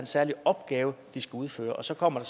særlig opgave de skal udføre og så kommer